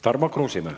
Tarmo Kruusimäe.